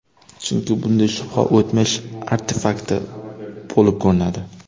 Chunki bunday shuba o‘tmish artefakti bo‘lib ko‘rinadi.